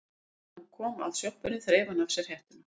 Áður en hann kom að sjoppunni þreif hann af sér hettuna.